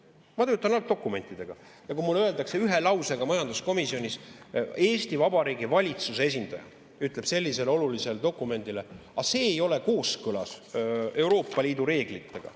Ma töötan algdokumentidega ja kui mulle öeldakse ühe lausega majanduskomisjonis, Eesti Vabariigi valitsuse esindaja ütleb sellise olulise dokumendi kohta: aga see ei ole kooskõlas Euroopa Liidu reeglitega.